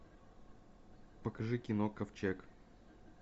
покажи кино ковчег